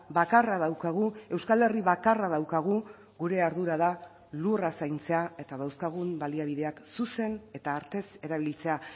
bakarra daukagu euskal herri bakarra daukagu gure ardura da lurra zaintzea eta dauzkagun baliabideak zuzen eta artez erabiltzea